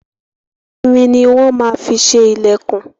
Irin ni wọ́n má fi ṣe ilẹkun.